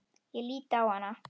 Ég lít á hana.